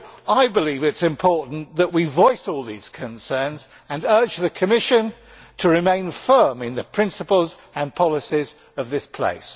I believe that it is important that we voice all these concerns and urge the Commission to remain firm in the principles and policies of this place.